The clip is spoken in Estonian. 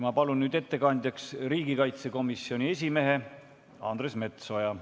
Ma palun ettekandjaks riigikaitsekomisjoni esimehe Andres Metsoja.